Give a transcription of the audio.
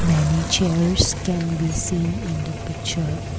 many chairs can be seen the picture.